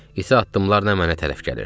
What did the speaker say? İti addımlarla mənə tərəf gəlirdi.